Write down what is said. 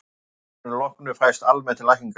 að árinu loknu fæst almennt lækningaleyfi